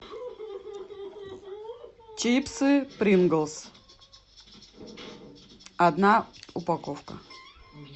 чипсы принглс одна упаковка